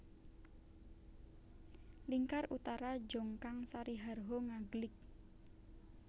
Lingkar Utara Jongkang Sariharho Ngaglik